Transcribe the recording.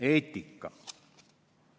Eetika.